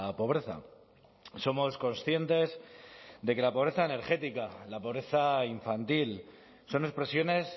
pobreza somos conscientes de que la pobreza energética la pobreza infantil son expresiones